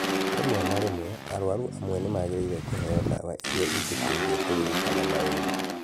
Rĩmwe na rĩmwe, arwaru amwe nĩ magĩrĩire kũheo dawa iria ingĩteithia kũririkana maũndũ.